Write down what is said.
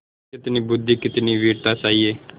कितनी बुद्वि कितनी वीरता चाहिए